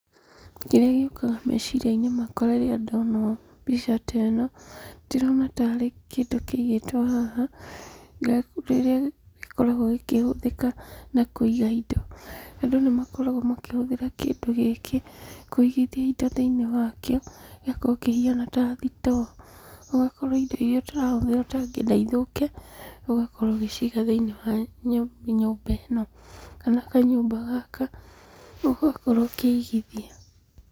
Kĩrĩa gĩũkaga meciria-inĩ makwa rĩrĩa ndona ũũ mbica ta ĩno, ndĩrona tarĩ kĩndũ kĩigĩtwo haha, kĩrĩa gĩkoragwo gĩkĩhũthĩka na kũiga indo. Andũ nĩmakoragwo makĩhũthĩra kĩndũ gĩkĩ kũigithia indo thĩinĩ wakĩo, gĩgakorwo kĩhuana ta thitoo, ũgakorwo indo iria ũtarahũthĩra ũtangĩenda ithũke, ũgakorwo ũgĩciga thĩinĩ wa nyũmba ĩno, kana kanyũmba gaka, ũgakorwo ũkĩigithia.